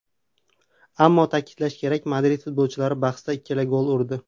Ammo ta’kidlash kerak, Madrid futbolchilari bahsda ikkita gol urdi.